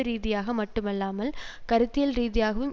ரீதியாக மட்டுமல்லாமல் கருத்தியல் ரீதியாகவும்